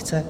Chce.